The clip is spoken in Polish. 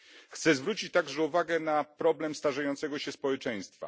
Chcę zwrócić także uwagę na problem starzejącego się społeczeństwa.